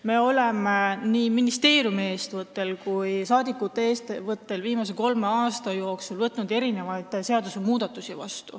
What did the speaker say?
Me oleme nii ministeeriumi kui ka rahvasaadikute eestvõttel viimase kolme aasta jooksul võtnud vastu mitmeid seadusmuudatusi.